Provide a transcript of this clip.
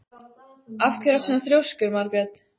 Af hverju ertu svona þrjóskur, Margrét?